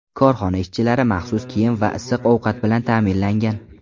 Korxona ishchilari maxsus kiyim va issiq ovqat bilan ta’minlangan.